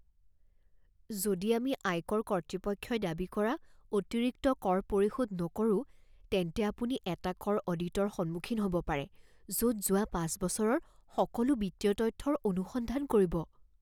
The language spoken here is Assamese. যদি আমি আয়কৰ কৰ্তৃপক্ষই দাবী কৰা অতিৰিক্ত কৰ পৰিশোধ নকৰোঁ তেন্তে আপুনি এটা কৰ অডিটৰ সন্মুখীন হ'ব পাৰে য'ত যোৱা পাঁচ বছৰৰ সকলো বিত্তীয় তথ্যৰ অনুসন্ধান কৰিব।